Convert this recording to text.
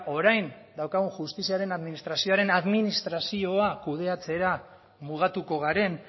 orain daukagun justiziaren administrazioaren administrazioa kudeatzera mugatuko garen